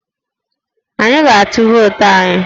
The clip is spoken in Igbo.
Anyi a ga-atụ vootu anyi?